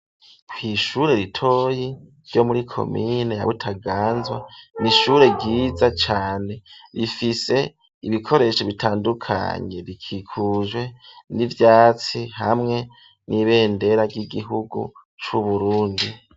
Kw'ishure ritoyi, ryo muri komine ya Butaganzwa, ni ishure ryiza cane, rifise ibikoresho bitandukanye; rikikujwe n'ivyatsi, hamwe n'ibendera, ry'igihugu c'Uburundi.